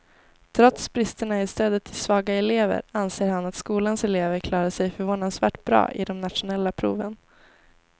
Trots bristerna i stödet till svaga elever anser han att skolans elever klarar sig förvånansvärt bra i de nationella proven.